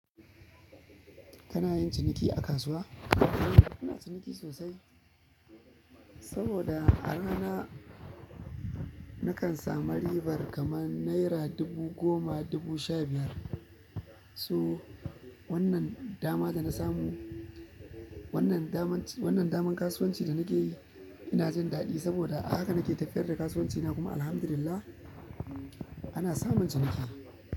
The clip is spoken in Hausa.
Kana yin ciniki a kasuwa? Ina ciniki sosai saboda a rana nakan samu ribar kamar naira dubu goma, dubu sha biyar. So wannan damar da na samu, wannan damar, wannan damar kasuwanci da nake yi ina jin daɗi saboda haka nake tafiyar da kasuwancina kuma Alhamdulillah ana samun ciniki.